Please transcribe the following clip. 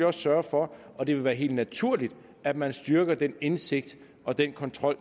også sørge for og det vil være helt naturligt at man styrker den indsigt i og den kontrol